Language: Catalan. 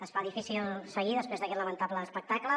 es fa difícil seguir després d’aquest lamentable espectacle